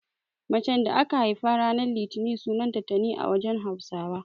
Macen da aka haifa ranan litini sunanta Tani a wajen Hausawa.